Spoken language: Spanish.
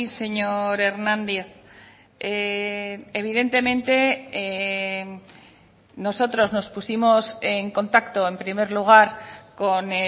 señor hernández evidentemente nosotros nos pusimos en contacto en primer lugar con